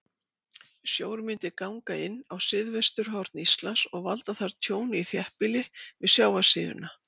Sjór myndi ganga inn á suðvesturhorn Íslands og valda þar tjóni í þéttbýli við sjávarsíðuna.